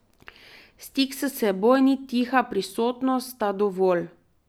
Stik s seboj in tiha prisotnost sta dovolj.